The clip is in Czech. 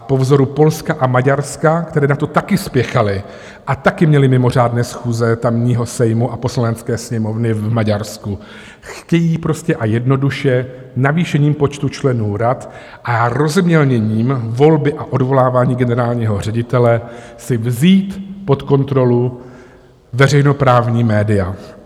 A po vzoru Polska a Maďarska, které na to také spěchaly a také měly mimořádné schůze tamního Sejmu a poslanecké sněmovny v Maďarsku, chtějí prostě a jednoduše navýšením počtu členů rad a rozmělněním volby a odvolávání generálního ředitele si vzít pod kontrolu veřejnoprávní média.